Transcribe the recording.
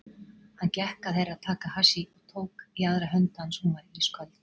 Hann gekk að Herra Takashi og tók í aðra hönd hans, hún var ísköld.